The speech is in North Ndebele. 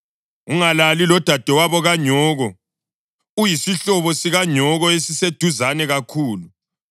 Ungalali lodadewabo kanyoko, uyisihlobo sikanyoko esiseduzane kakhulu.